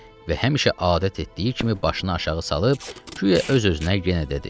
Və həmişə adət etdiyi kimi başını aşağı salıb guya öz-özünə yenə dedi: